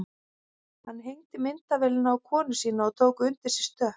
Hann hengdi myndavélina á konu sína og tók undir sig stökk.